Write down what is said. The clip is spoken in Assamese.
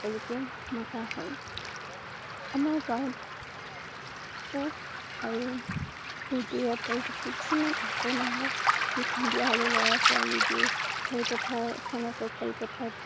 সকলোকে মতা হয়। আমাৰ গাঁৱত সুখ আৰু ফুৰ্তিৰে ভৰি থাকে । কিমান আছে মানুহ জী সন্ধিয়া হলে কৰা ছোৱালী বোৰ খেলপথাৰ এখন আছে খেলপথাৰত